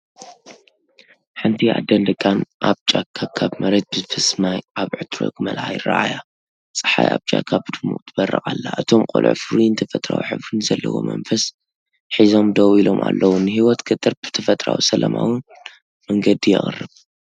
ሓንቲ ኣደን ደቃን ኣብ ጫካ ካብ መሬት ብዝፈስስ ማይ ኣብ ዕትሮ ክመልኣ ይረኣያ። ጸሓይ ኣብ ጫካ ብድሙቕ ትበርቕ ኣላ፣ እቶም ቆልዑ ፍሩይን ተፈጥሮኣዊ ሕብሪ ዘለዎን መንፈስ ሒዞም ደው ኢሎም ኣለዉ። ንህይወት ገጠር ብተፈጥሮኣውን ሰላማውን መንገዲ የቕርብ።